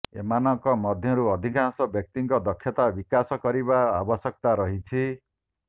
ଏମାନଙ୍କ ମଧ୍ୟରୁ ଅଧିକାଂଶ ବ୍ୟକ୍ତିଙ୍କ ଦକ୍ଷତା ବିକାଶ କରିବାର ଆବଶ୍ୟକତା ରହିଛି